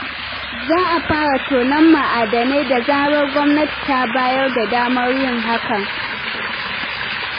Za a fara tono ma'adanan da zarar gwamnati ta bayar da damar yin hakan.